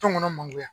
Tɔn ŋɔnɔ mangoro